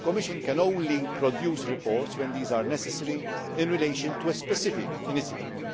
The Commission can only produce reports when these are necessary in relation to a specific initiative.